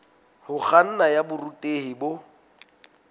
ho kganna ya borutehi bo